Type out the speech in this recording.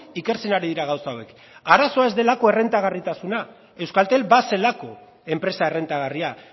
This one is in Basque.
ikertzen ari dira gauza hauek arazoa ez delako errentagarritasuna euskaltel bazelako enpresa errentagarria